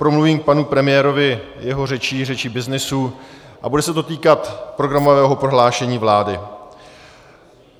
Promluvím k panu premiérovi, jeho řečí, řečí byznysu, a bude se to týkat programového prohlášení vlády.